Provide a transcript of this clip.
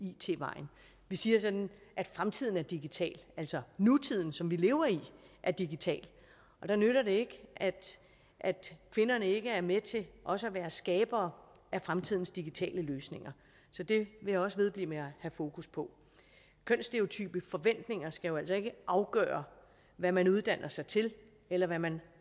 it vejen vi siger sådan at fremtiden er digital altså nutiden som vi lever i er digital og der nytter det ikke at kvinderne ikke er med til også at være skaber af fremtidens digitale løsninger så det vil jeg også vedblive med at have fokus på kønsstereotype forventninger skal jo altså ikke afgøre hvad man uddanner sig til eller hvad man